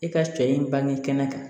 E ka cɛ in bange kɛnɛ kan